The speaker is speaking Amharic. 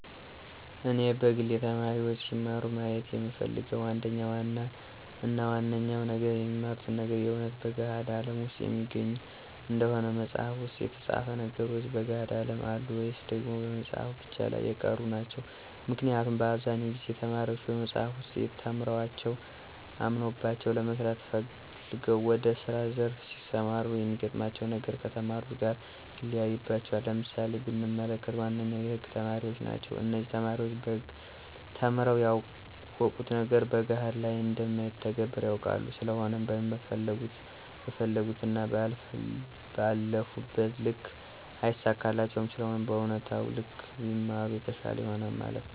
እኔ በግሌ ተማሪዎች ሲማሩ ማየት የምፈልገው አንደኛው እና ዋነኛው ነገር የሚማሩት ነገር የእውነት በገሀድ አለም ውስጥ የሚገኝ እንዲሆን መፅሃፍ ውስጥ የተፃፉ ነገሮች በገሀዱ አለም አሉ ወይስ ደግሞ በመፅሃፉ ብቻ ላይ የቀሩ ናቸው? ምክንያቱም በአብዛኛው ጊዜ ተማሪዎች በመፅሐፍ ውስጥ ተምረዋቸው አምነውባቸው ለመስራት ፈልገው ወደ ስራ ዘርፍ ሲሰማሩ የሚገጥማቸው ነገር ከተማሩት ጋር ይለያይባቸዋል። ለምሳሌ ብንመለከት ዋነኞቹ የህግ ተማሪዎች ናቸው እነዚህ ተማሪዎች በህግ ተምረው ያወቁት ነገር በገሀድ ላይ እንደማይተገበር ያውቃሉ ስለሆነም በፈለጉት እና ባለፉበት ልክ አይሳካላቸውም ስለሆነም በእውነታው ልክ ቢማሩ የተሻለ ይሆናል ማለት ነው